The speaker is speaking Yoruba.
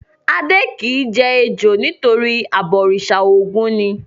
Adé kì í jẹ ejò nítorí abọ̀rìṣà Ògún ni.